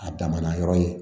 A damana yɔrɔ ye